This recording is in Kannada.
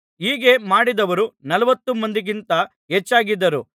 ಹೀಗೆ ಮಾಡಿದವರು ನಲವತ್ತು ಮಂದಿಗಿಂತ ಹೆಚ್ಚಾಗಿದ್ದರು